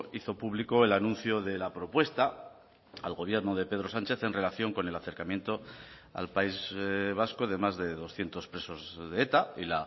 hizo público el anuncio de la propuesta al gobierno de pedro sánchez en relación con el acercamiento al país vasco de más de doscientos presos de eta y